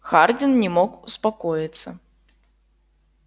хардин не мог успокоиться